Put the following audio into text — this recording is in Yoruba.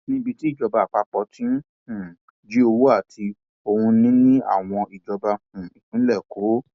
níbi tí ìjọba àpapọ ti um ń jí owó àti ohunìní àwọn ìjọba um ìpínlẹ kó